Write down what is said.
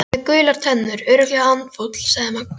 Hann er með gular tennur, örugglega andfúll sagði Magga.